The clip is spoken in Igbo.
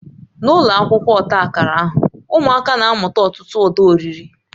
N'ụlọ akwụkwọ ọta akara ahụ, ụmụaka na-amụta ọtụtụ uda ọrịre